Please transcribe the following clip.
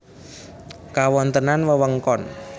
Kawontenan wewengkon